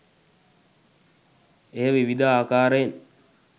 එය විවිධ ආකාරයෙන්